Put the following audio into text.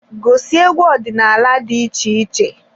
Gosi egwu ọdịnala dị iche iche.